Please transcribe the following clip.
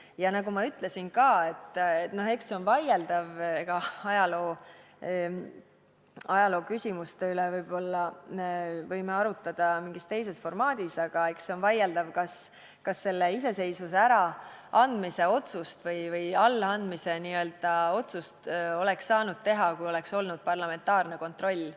Ja nagu ma ka ütlesin – ajalooküsimuste üle võime arutada mingis teises formaadis –, eks see on vaieldav, kas iseseisvuse äraandmise otsust või allaandmise otsust oleks saanud teha, kui oleks olnud parlamentaarne kontroll.